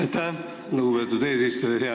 Aitäh, lugupeetud eesistuja!